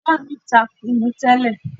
Ìyá mi ta kùnú tẹ́lẹ̀.